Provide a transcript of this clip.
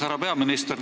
Härra peaminister!